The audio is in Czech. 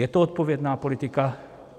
Je to odpovědná politika?